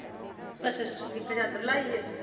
ਅੱਛਾ ਅੱਛਾ ਜਿੱਥੇ ਚਾਦਰ ਲਾਈ ਐ।